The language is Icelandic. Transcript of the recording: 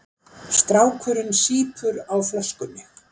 Strákurinn sýpur á flöskunni.